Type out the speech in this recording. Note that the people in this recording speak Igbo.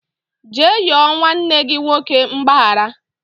Jee yọọ nwanne gị nwoke mgbaghara